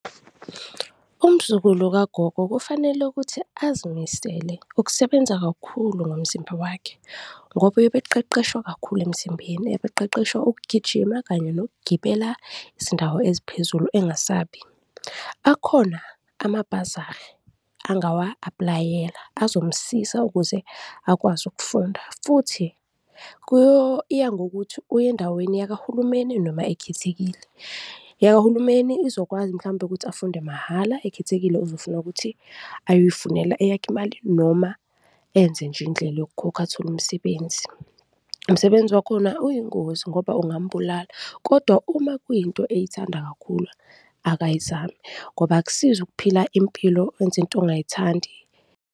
Umzukulu kagogo kufanele ukuthi azimisele ukusebenza kakhulu ngomzimba wakhe ngoba uyebeqeqeshwa kakhulu emzimbeni, ebeqeqeshwa ukugijima kanye nokugibela izindawo eziphezulu engasabi. Akhona amabhazari angawa-aplayela azomsiza ukuze akwazi ukufunda futhi kuyo, iya ngokuthi uya endaweni yakahulumeni noma ekhethekile. Eyakahulumeni izokwazi mhlawumbe ukuthi afunde mahhala, ekhethekile uzofuna ukuthi ayozifunela eyakhe imali noma enze nje indlela yokukhokha, athole umsebenzi. Umsebenzi wakhona uyingozi ngoba ungambulala kodwa uma kuyinto eyithanda kakhulu, akayizame ngoba akusizi ukuphila impilo wenze into ongayithandi.